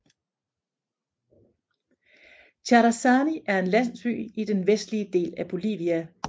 Charazani er en landsby i den vestlige del af Bolivia